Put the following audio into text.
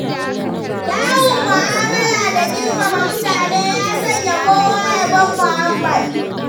Kyawun mu'amala da girmama mutane, ya sanya kowa yabon muhammad.